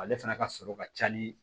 Ale fana ka sɔrɔ ka ca ni